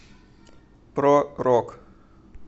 про рок